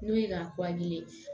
N'o ye k'a